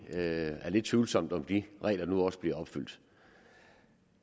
lidt tvivlsomt om de regler nu også bliver opfyldt